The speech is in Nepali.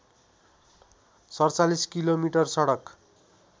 ४७ किलोमिटर सडक